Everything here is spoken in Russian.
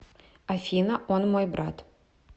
афина он мой брат